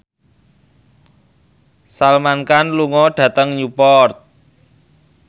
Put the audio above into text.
Salman Khan lunga dhateng Newport